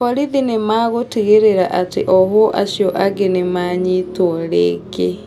Borithi nĩmagũtigĩrĩra atĩ ohwo acio angĩ nĩmanyitwo rĩngĩ